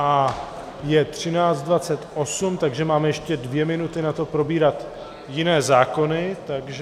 A je 13.28, takže máme ještě dvě minuty na to probírat jiné zákony, takže...